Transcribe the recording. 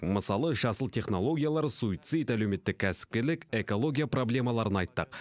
мысалы жасыл технологиялар суицид әлеуметтік кәсіпкерлік экология проблемаларын айттық